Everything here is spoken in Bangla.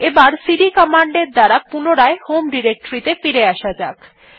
এবার সিডি কমান্ড এর দ্বারা পুনরায় হোম ডিরেক্টরী ত়ে ফিরে আসা যাক